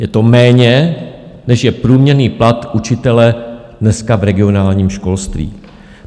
Je to méně, než je průměrný plat učitele dneska v regionálním školství.